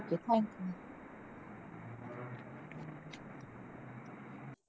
ठीक आहे. Thank you.